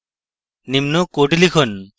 নিম্ন code লিখুন